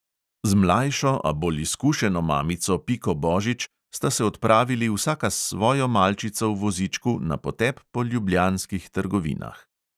Z mlajšo, a bolj izkušeno mamico piko božič sta se odpravili vsaka s svojo malčico v vozičku na potep po ljubljanskih trgovinah.